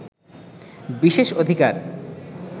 বিশেষ অধিকার